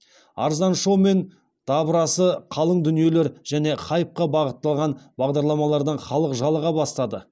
арзан шоу мен дабырасы қалың дүниелер және хайпқа бағытталған бағдарламалардан халық жалыға бастады